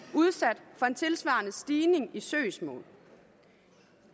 udsat for en tilsvarende stigning i søgsmål